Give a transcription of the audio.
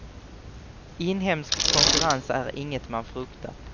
Inhemsk konkurrens är inget man fruktar.